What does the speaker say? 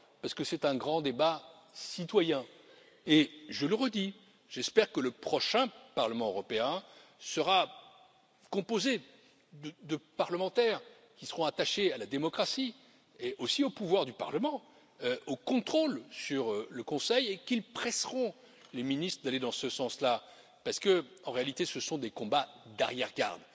Parce que c'est un grand débat citoyen et, je le redis, j'espère que le prochain Parlement européen sera composé de parlementaires qui seront attachés à la démocratie et aussi aux pouvoirs du Parlement, au contrôle sur le Conseil, et qu'ils presseront les ministres d'aller dans ce sens là, parce qu'il s'agit en réalité de combats d'arrière garde.